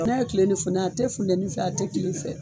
N'a ye tile ni funteni a tɛ tile fɛ a tɛ funteni fɛ